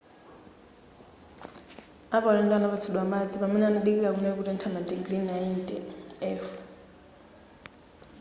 apaulendo anapatsidwa madzi pamene amadikira kunali kutentha madigiri 90 f